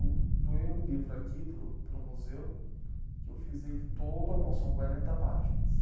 Eu doei um livro aqui para o, para o museu, que eu fiz ele todo à mão, são quarenta páginas.